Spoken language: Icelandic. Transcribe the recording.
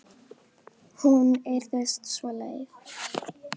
Amma þagði nú lengi, lengi.